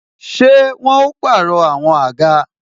Ṣé wọn ó pàrọ̀ àwọn àga?